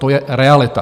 To je realita.